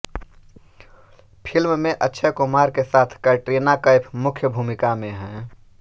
film में अक्षय कुमार के साथ कैटरीना कैफ मुख्य भूमिका में हैं